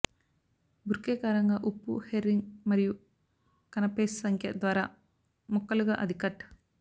Burke కారంగా ఉప్పు herring మరియు కనపేస్ సంఖ్య ద్వారా ముక్కలుగా అది కట్